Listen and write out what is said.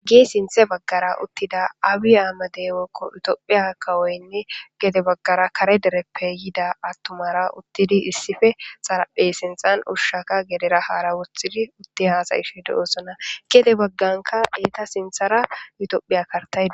Gisinthe baggara uttida awi aamadeewekko yutophiya kawoynne gede baggara kare dereppe yida attumara uttidi issife xaraphey sinxan ushshaka gedera haara wothidi utti haasayish de'osona gede bagganka eeta sinthara yutophiya kartayi.